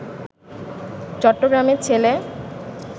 চট্টগ্রামের ছেলে